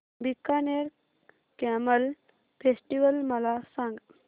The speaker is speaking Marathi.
बीकानेर कॅमल फेस्टिवल मला सांग